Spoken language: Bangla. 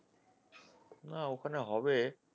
না ওখানে হবে